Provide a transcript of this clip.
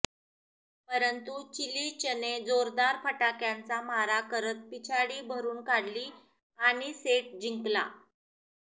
परंतु चिलिचने जोरदार फटक्यांचा मारा करत पिछाडी भरून काढली आणि सेट जिंकला